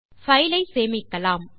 file ஐ சேமிக்கலாம்